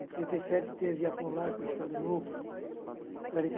Em trinta e sete, teve Apolaco, Estado Novo.